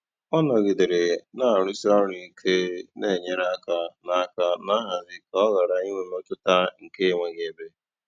Ọ́ nọ̀gídéré nà-àrụ̀sí ọ́rụ̀ íké nà-ènyérè áká nà áká nà nhazì kà ọ́ ghárá ínwé mmétụ́tà nkè énweghị́ ébé.